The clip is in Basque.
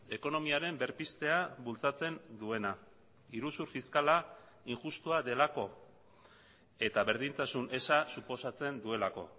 ekonomiaren berpiztea bultzatzen duena iruzur fiskala injustua delako eta berdintasun eza suposatzen duelako